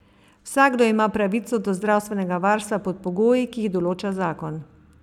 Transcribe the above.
Vsakdo ima pravico do zdravstvenega varstva pod pogoji, ki jih določa zakon.